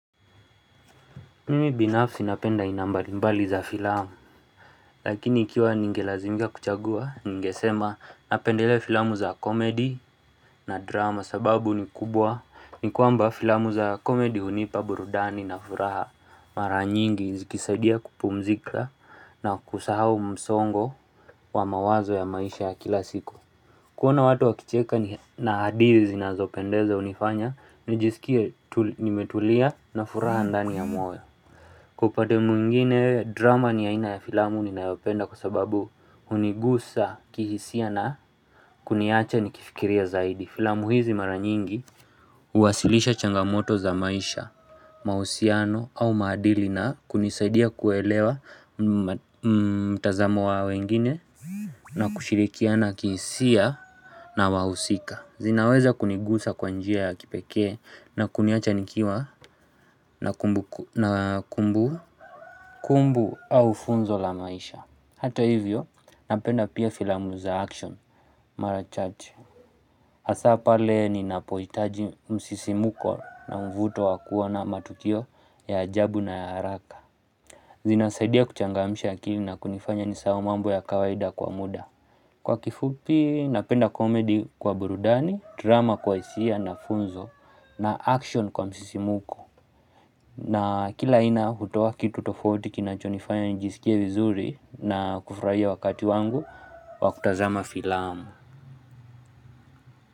Mimi binafsi napenda aina mbali mbali za filamu, lakini ikiwa ningelazimika kuchagua, ningesema napendelea filamu za komedi na drama sababu ni kubwa, ni kwamba filamu za komedi hunipa burudani na furaha mara nyingi zikisadia kupumzika na kusahau msongo wa mawazo ya maisha ya kila siku. Kuona watu wakicheka na hadithi zinazopendeza hunifanya, nijisikie nimetulia na furaha ndani ya moyo. Kwa upande mwingine drama ni ya aina ya filamu ninayopenda kwa sababu hunigusa kihisia na kuniacha nikifikiria zaidi. Filamu hizi mara nyingi huwasilisha changamoto za maisha, mahusiano au maadili na kunisaidia kuelewa mtazamo wa wengine na kushirikiana kihisia na wahusika. Zinaweza kunigusa kwa njia ya kipekee na kuniacha nikiwa na kumbu. Kumbu au funzo la maisha. Hata hivyo napenda pia filamu za action Mara Church. Hasa pale ninapohitaji msisimko na mvuto wa kuwa na matukio ya ajabu na ya haraka. Zinasaidia kuchangamisha akili na kunifanya nisahau mambo ya kawaida kwa muda. Kwa kifupi napenda komedi kwa burudani, drama kwa hisia na funzo na action kwa msisimuko. Na kila ina hutoa kitu tofauti kinachonifanya nijisiki vizuri na kufurahia wakati wangu wakutazama filamu.